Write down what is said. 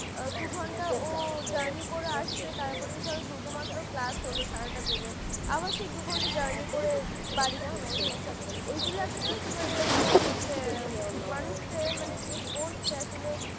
দু ঘন্টা ওর journey করা আসবে তারপরে ধরো দুটো মাত্র class হলো সারাদিনে আবার সেই দু ঘন্টা journey, বাড়ি ফিরছে ওইগুলো একটা জানতো মানে মানে একটা অনেক মানুষকে যে করছে আসলে